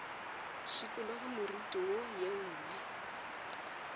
šikologe moriti wo ye nngwe